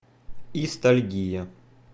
истальгия